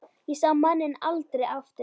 Ég sá manninn aldrei aftur.